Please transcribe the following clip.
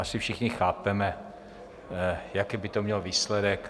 Asi všichni chápeme, jaký by to mělo výsledek.